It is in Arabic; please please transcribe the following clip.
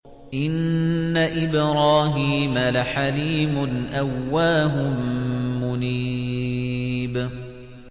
إِنَّ إِبْرَاهِيمَ لَحَلِيمٌ أَوَّاهٌ مُّنِيبٌ